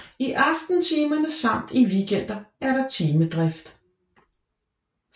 I aftentimerne samt i weekender er der timedrift